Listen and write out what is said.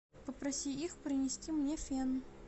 попроси их принести мне фен